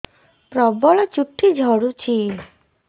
ପ୍ରବଳ ଚୁଟି ଝଡୁଛି